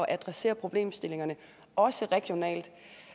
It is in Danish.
adressere problemstillingerne også regionalt